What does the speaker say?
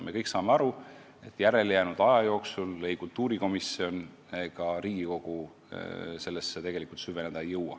Me kõik saame aga aru, et järelejäänud aja jooksul ei kultuurikomisjon ega Riigikogu sellesse süveneda ei jõua.